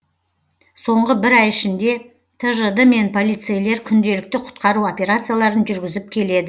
соңғы бір ай ішінде тжд мен полицейлер күнделікті құтқару операцияларын жүргізіп келеді